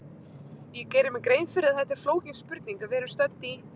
Ég geri mér grein fyrir að þetta er flókin spurning, en við erum stödd í